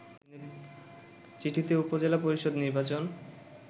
চিঠিতে উপজেলা পরিষদ নির্বাচন